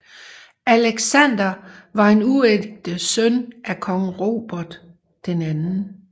Alexander var en uægte søn af kong Robert 2